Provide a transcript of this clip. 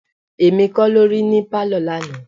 Èmi kọ́ lo rí ní pálọ̀ lánàá.